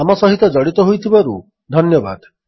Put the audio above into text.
ଆମ ସହିତ ଜଡ଼ିତ ହୋଇଥିବାରୁ ଧନ୍ୟବାଦ